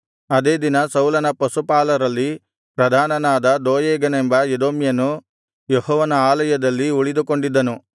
ಅದೇ ದಿನ ಸೌಲನ ಪಶುಪಾಲರಲ್ಲಿ ಪ್ರಧಾನನಾದ ದೋಯೇಗನೆಂಬ ಎದೋಮ್ಯನು ಯೆಹೋವನ ಆಲಯದಲ್ಲಿ ಉಳಿದುಕೊಂಡಿದ್ದನು